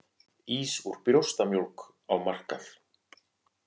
Ís úr brjóstamjólk á markað